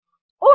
oh no